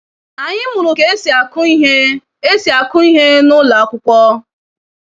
Anyị mụrụ ka esi aku ihe esi aku ihe na ụlọ akwụkwọ.